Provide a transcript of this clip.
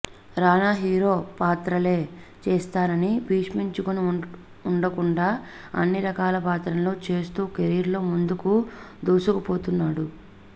రానా hero పాత్రలే చేస్తానని భీష్మించుకొని ఉండకుండా అన్ని రకాల పాత్రలను చేస్తూ కెరీర్ లో ముందుకు దూసుకుపోతున్నాడు